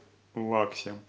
лаксе